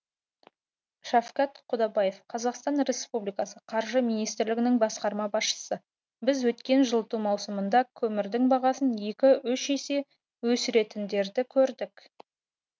шафкат құдабаев қазақстан республикасы қаржы министрлігінің басқарма басшысы біз өткен жылыту маусымында көмірдің бағасын екі үш есе өсіретіндерді көрдік